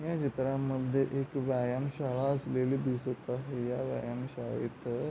या चित्रामध्ये एक व्यायामशाळा असलेली दिसत आहे या व्यायामशाळेत --